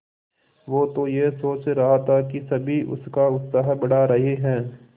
वो तो यह सोच रहा था कि सभी उसका उत्साह बढ़ा रहे हैं